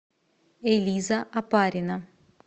элиза опарина